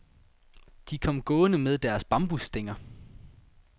De kom gående med deres bambusstænger.